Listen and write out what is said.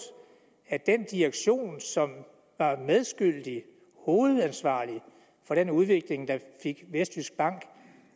at den direktion som er medskyldig i hovedansvarlig for den udvikling der fik vestjyskbank